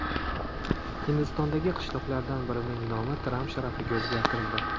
Hindistondagi qishloqlardan birining nomi Tramp sharafiga o‘zgartirildi.